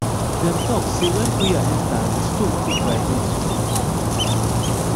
dem talk say when prayer enter di stone fit vibrate small